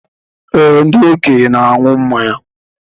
Ee, ndị okenye na aṅụ mmanya